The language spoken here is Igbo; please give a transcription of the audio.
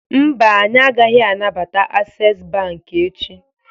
Mba, anyị agaghị anabata Access Bank echi